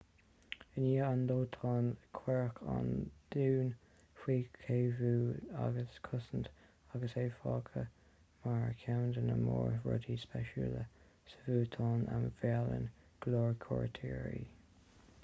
i ndiaidh an dóiteáin cuireadh an dún faoi chaomhnú agus chosaint agus é fágtha mar cheann de na mór rudaí spéisiúla sa bhútáin a mheallann go leor cuairteoirí